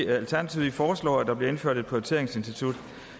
alternativet foreslår at der bliver indført et prioriteringsinstitut